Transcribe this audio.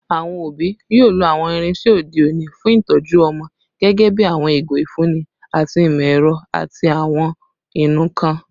Awọn obi yoo lo awọn irinṣẹ ode oni fun itọju ọmọ, gẹgẹbi awọn igo ifunni ti imọ-ẹrọ ati awọn inunkan